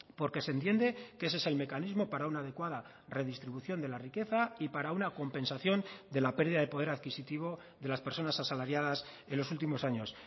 porque se entiende que ese es el mecanismo para una adecuada redistribución de la riqueza y para una compensación de la pérdida de poder adquisitivo de las personas asalariadas en los últimos años